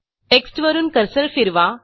टेक्स्टवरून cursor फिरवा